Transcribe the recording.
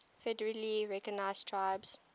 federally recognized tribes